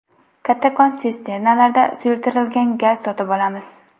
Kattakon sisternalarda suyultirilgan gaz sotib olamiz.